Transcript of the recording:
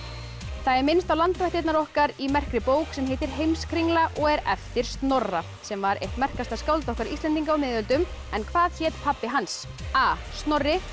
það er minnst á landvættirnar okkar í merkri bók sem heitir Heimskringla og er eftir Snorra sem var eitt merkasta skáld okkar Íslendinga á miðöldum en hvað hét pabbi hans a Snorri